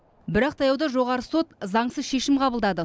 бірақ таяуда жоғары сот заңсыз шешім қабылдады